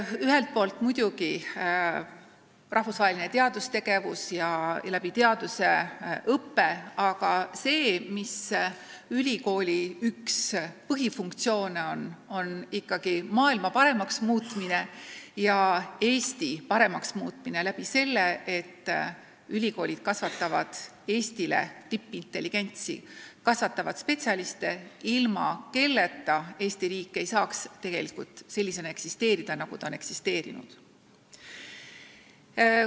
Ühelt poolt muidugi rahvusvaheline teadustegevus ja läbi teaduse õpe, aga ülikooli üks põhifunktsioon on ikkagi maailma paremaks muutmine ja Eesti paremaks muutmine tänu sellele, et ülikoolid kasvatavad Eestile tippintelligentsi: kasvatavad spetsialiste, ilma kelleta Eesti riik ei saaks sellisena eksisteerida, nagu ta on eksisteerinud.